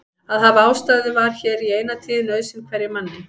Að hafa ástæðu var hér í eina tíð nauðsyn hverjum manni.